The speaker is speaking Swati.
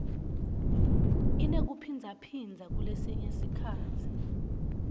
inekuphindzaphindza kulesinye sikhatsi